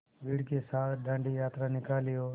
भीड़ के साथ डांडी यात्रा निकाली और